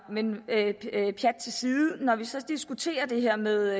men pjat til side når vi så diskuterer det her med